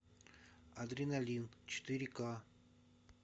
адреналин четыре к